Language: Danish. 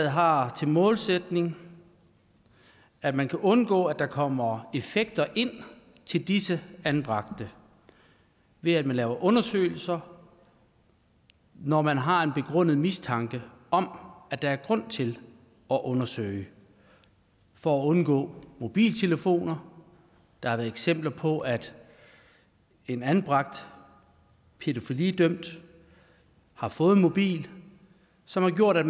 har som målsætning at man kan undgå at der kommer effekter ind til disse anbragte ved at man laver undersøgelser når man har en begrundet mistanke om at der er grund til at undersøge for at undgå mobiltelefoner der har været eksempler på at en anbragt pædofilidømt har fået en mobil som har gjort at